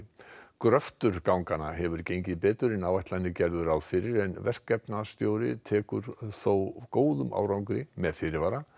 gröftur ganganna hefur gengið betur en áætlanir gerðu ráð fyrir en verkefnastjóri tekur þó góðum árangri með fyrirvara